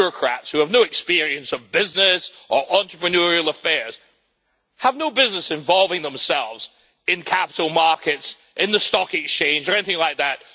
Bureaucrats who have no experience of business or entrepreneurial affairs have no business involving themselves in capital markets in the stock exchange or anything like that.